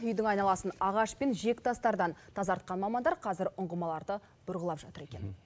үйдің айналасын ағаш пен жиектастардан тазартқан мамандар қазір ұңғымаларды бұрғылап жатыр екен